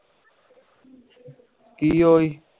ਕਿ ਓਹੀ